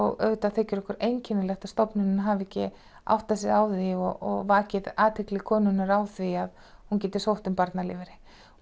auðvitað þykir okkur einkennilegt að stofnunin hafi ekki áttað sig á því og vakið athygli konunnar á því að hún geti sótt um barnalífeyri